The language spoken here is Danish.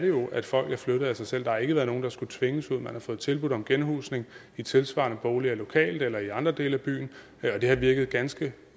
jo at folk er flyttet af sig selv der har ikke været nogen der skulle tvinges ud man har fået tilbud om genhusning i tilsvarende boliger lokalt eller i andre dele af byen og det har virket ganske